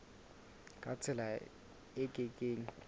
ka tsela e ke keng